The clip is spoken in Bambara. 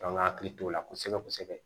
An ka hakili t'o la kosɛbɛ kosɛbɛ